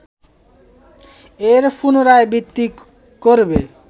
এর পুনরাবৃত্তি করবে